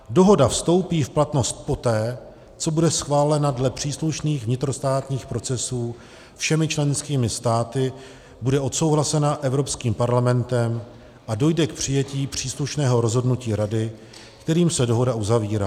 Dohoda vstoupí v platnost poté, co bude schválena dle příslušných vnitrostátních procesů všemi členskými státy, bude odsouhlasena Evropským parlamentem a dojde k přijetí příslušného rozhodnutí Rady, kterým se dohoda uzavírá.